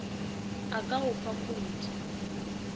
a ka go fa khoute